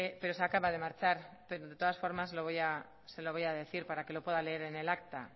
pero se acaba de marchar pero de todas formar se lo voy a decir para que lo pueda leer en el acta